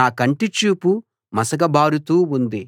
నా కంటి చూపు మసకబారుతూ ఉంది